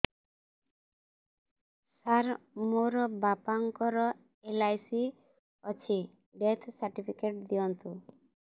ସାର ମୋର ବାପା ଙ୍କର ଏଲ.ଆଇ.ସି ଅଛି ଡେଥ ସର୍ଟିଫିକେଟ ଦିଅନ୍ତୁ